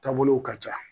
Taabolow ka ca